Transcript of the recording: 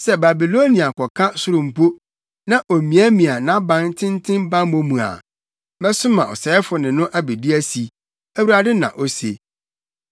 Sɛ Babilonia kɔka soro mpo, na omiamia nʼaban tenten bammɔ mu a, mɛsoma ɔsɛefo ne no abedi asi,” Awurade na ose.